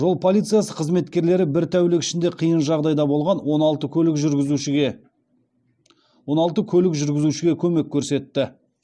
жол полициясы қызметкерлері бір тәулік ішінде қиын жағдайда қалған он алты көлік жүргізушіге көмек көрсетті